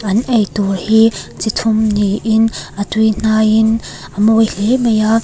an eitûr hi chi thum niin a tuihnaiin a mawi hlê mai a.